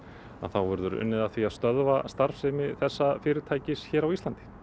þá verður unnið að því að stöðva starfsemi þessa fyrirtækis á Íslandi